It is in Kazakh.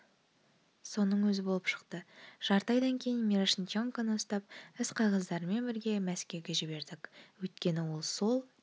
соның өзі болып шықты жарты айдан кейін мирошниченконы ұстап іс-қағаздарымен бірге мәскеуге жібердік өйткені ол сол